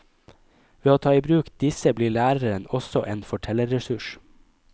Ved å ta i bruk disse blir læreren også en fortellerressurs.